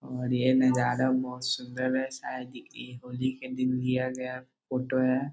और ये नज़ारा बहुत सुंदर है शायद इ ये होली के दिन लिया गया फोटो है।